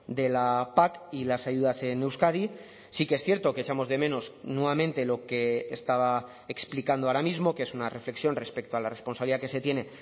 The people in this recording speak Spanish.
de la pac y las ayudas en euskadi sí que es cierto que echamos de menos nuevamente lo que estaba explicando ahora mismo que es una reflexión respecto a la responsabilidad que se tiene